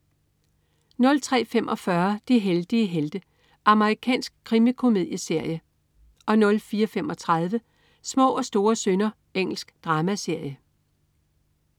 03.45 De heldige helte. Amerikansk krimikomedieserie 04.35 Små og store synder. Engelsk dramaserie